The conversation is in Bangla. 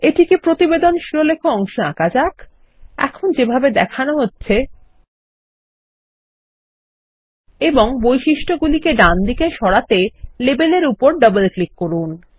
এটিকে প্রতিবেদনশিরোলেখ অংশেআঁকা যাক এখন যেভাবে দেখানো হচ্ছে এবং বৈশিষ্ট্য গুলিকেডান দিকে সরাতে লেবেল এরউপর ডবলক্লিক করুন